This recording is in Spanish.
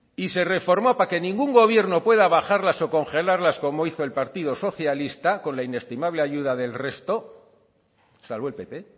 y se reformó para que ningún gobierno pueda bajarlas o congelarlas como hizo el partido socialista con la inestimable ayuda del resto salvo el pp